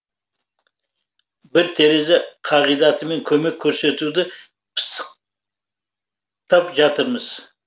бір терезе қағидатымен көмек көрсетуді пысық тап жатырмыз